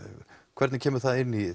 hvernig kemur það inn í